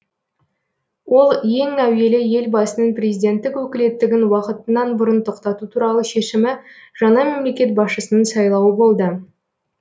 ол ең әуелі елбасының президенттік өкілеттігін уақытынан бұрын тоқтату туралы шешімі жаңа мемлекет басшысының сайлауы болды